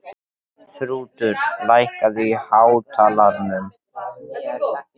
Þrútur, lækkaðu í hátalaranum.